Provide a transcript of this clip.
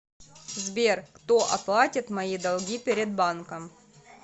сбер кто оплатит мои долги перед банком